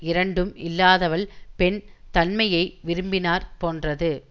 இரண்டும் இல்லாதவள் பெண் தன்மையை விரும்பினாற் போன்றது